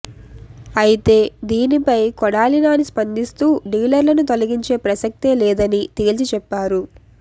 అయితే దీనిపై కొడాలి నాని స్పందిస్తూ డీలర్లను తొలగించే ప్రసక్తే లేదని తేల్చి చెప్పారు